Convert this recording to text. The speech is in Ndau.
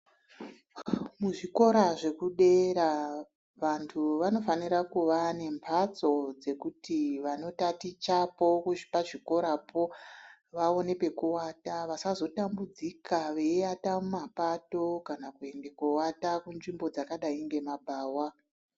Kuzvikora zvekudera vantu vanofanira kunga nembatso dzekuti vantu vanotatichapo pazvikorapo vaone pekuwata vasazotambudzika veiata mumapato kana kuenda kuata kunzvimbo dzakadai ngemabhawa.